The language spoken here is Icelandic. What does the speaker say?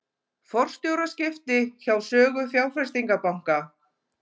Forstjóraskipti hjá Sögu fjárfestingarbanka